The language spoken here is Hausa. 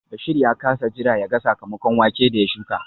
Bashir ya kasa jira yaga sakamakon wake da ya shuka